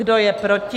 Kdo je proti?